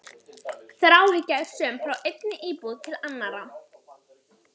Þráhyggja er söm frá einni íbúð til annarrar.